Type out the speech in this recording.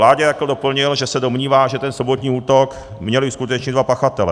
Láďa Jakl doplnil, že se domnívá, že ten sobotní útok měli uskutečnit dva pachatelé.